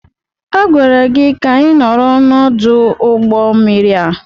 Agwara gị ka ị nọrọ n'ọdụ ụgbọ mmiri a!